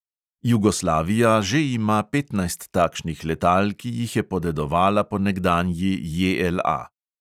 Jugoslavija že ima petnajst takšnih letal, ki jih je podedovala po nekdanji JLA.